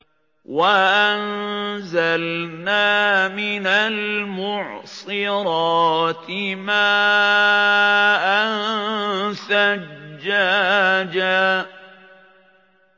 وَأَنزَلْنَا مِنَ الْمُعْصِرَاتِ مَاءً ثَجَّاجًا